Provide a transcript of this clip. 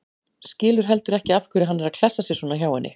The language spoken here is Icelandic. Skilur heldur ekki af hverju hann er að klessa sér svona hjá henni.